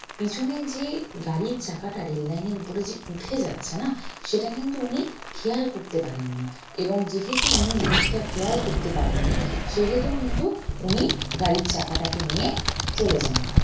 পেছনে যে গাড়ির চাকাটা rail line এর উপরে যে উঠে যাচ্ছে না সেটা কিন্তু উনি খেয়াল করতে পারেননি এবং যেহেতু উনি জিনিষটা খেয়াল করতে পারেননি সেহেতু কিন্তু উনি গাড়ির চাকাটাকে নিয়ে চলে যান ওখানে